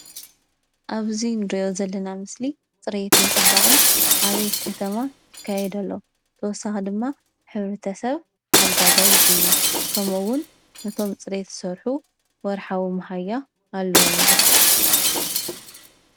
ኣብዚ ንሪኦ ዘለና ምስሊ ፅሬትን ፅባቀን ኣበይ ከተማ ይካየድ ኣሎ ?ብተወሳኪ ድማ ሕብረተሰብ ሓጋዛይ ድዩ ?ከም እውን ነቶም ፅሬት ዝሰርሑ ወርሓዊ መሃያ ኣለዎም ዶ ?